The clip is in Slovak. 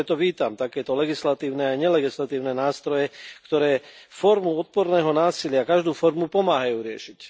A preto vítam takéto legislatívne i nelegislatívne nástroje, ktoré formu odporného násilia každú formu pomáhajú riešiť.